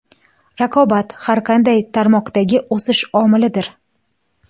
Raqobat – har qanday tarmoqdagi o‘sish omilidir.